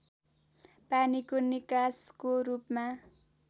पानीको निकासको रूपमा